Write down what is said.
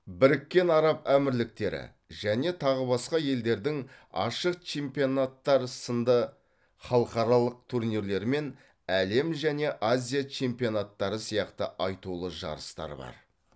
біріккен араб әмірліктері және тағы басқа елдердің ашық чемпионаттары сынды халықаралық турнирлер мен әлем және азия чемпионаттары сияқты айтулы жарыстар бар